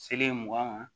Seleri mugan ma